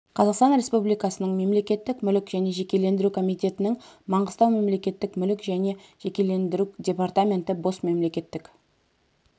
қазақстан республикасының мемлекеттік мүлік және жекешелендіру комитетінің маңғыстау мемлекеттік мүлік және жекешелендіру департаменті бос мемлекеттік